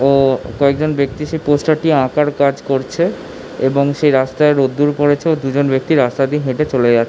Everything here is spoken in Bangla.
ও কয়েক জন ব্যাক্তি সেই পোস্টার টি আঁকার কাজ করছে। এবং সেই রাস্তায় রোদ্দুর পড়েছে ও দুজন ব্যাক্তি রাস্তা দিয়ে হেটে চলে যা--